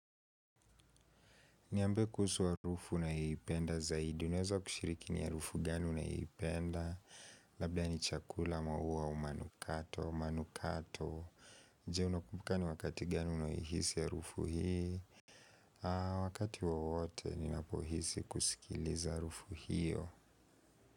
Ni ambie kuhusu harufu unaipenda zaidi. Unaweza kushiriki ni harufu gani unaipenda. Labda ni chakula maua au manukato. Manukato. Je unakubuka ni wakati gani unayoihisi harufu hii. Wakati wowote ninapohisi kusikiliza harufu hiyo.